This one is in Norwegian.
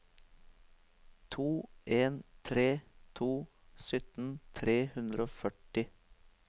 to en tre to sytten tre hundre og førti